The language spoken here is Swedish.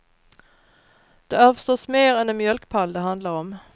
Det är förstås mer än en mjölkpall det handlar om.